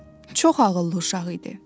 Çox ağıllı uşaq idi.